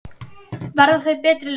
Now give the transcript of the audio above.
Verða þau betri lið?